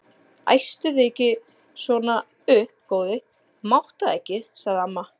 Æstu þig ekki svona upp góði, þú mátt það ekki sagði amma.